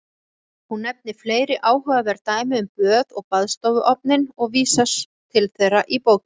Hún nefnir fleiri áhugaverð dæmi um böð og baðstofuofninn og vísast til þeirra í bókinni.